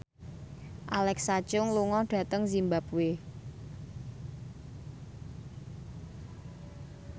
Alexa Chung lunga dhateng zimbabwe